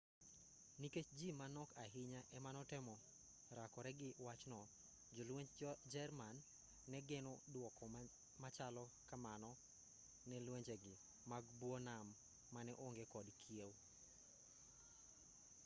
nikech ji manok ahinya ema notemo rakore gi wachno jolwenj jerman ne geno dwoko machalo kamano ne lwenjegi mag buo nam mane onge kod kiew